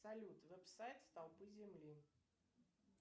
салют веб сайт столпы земли